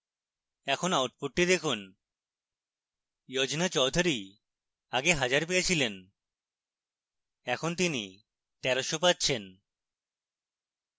এখন output দেখুন yojna chaudhury আগে 1000 পেয়েছিলেন এখন তিনি 1300 পাচ্ছেন